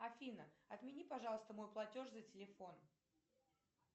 афина отмени пожалуйста мой платеж за телефон